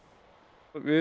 við